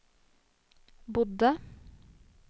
bodde